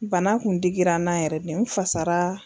Bana kun digira n na yɛrɛ de n fasara